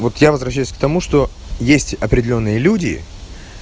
вот я возвращаюсь к тому что есть определённые люди